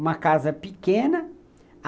Uma casa pequena.